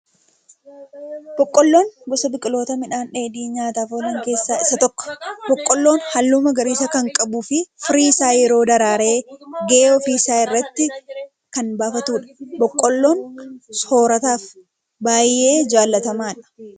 Boqolloon gosa biqiloota midhaan dheedhii nyaataaf oolan keessaa isa tokko. Boqolloon halluu magariisaa kan qabuu fi firii isaa yeroo daraaree gahe ofii isaa irratti kan buufatudha. Boqolloon soorrataaf baayyee jallatamaadha.